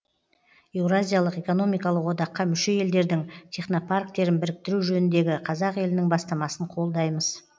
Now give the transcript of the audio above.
еуразиялық экономикалық одаққа мүше елдердің технопарктерін біріктіру жөніндегі қазақ елінің бастамасын қолдаймыз